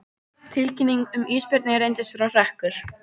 Tilkynning um ísbirni reyndist vera hrekkur